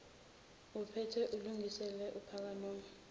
uphathe ulungiselele uphakenoma